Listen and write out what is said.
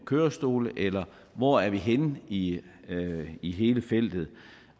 kørestol eller hvor er vi henne i i hele feltet